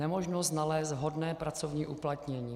Nemožnost nalézt vhodné pracovní uplatnění.